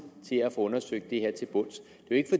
til at få undersøgt det her til bunds